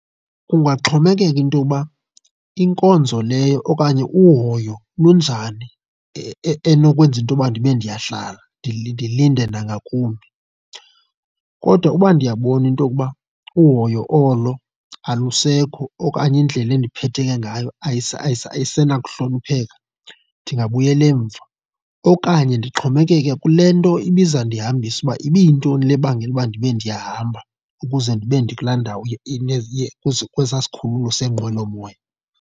Kungaxhomekeka into yokuba inkonzo leyo okanye uhoyo lunjani enokwenza into yokuba ndibe ndiyahlala ndilinde nangakumbi. Kodwa uba ndiyabona into okuba uhoyo olo alusekho okanye indlela endiphethe ke ngayo ayisenakuhlonipheka, ndingabuyela emva. Okanye ndixhomekeke kule nto ibiza ndihambisa uba ibiyintoni le ebangela uba ndibe ndiyahamba ukuze ndibe ndikulaa ndawo kwesaa sikhululo seenqwelomoya.